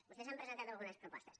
vostès han presentat algunes propostes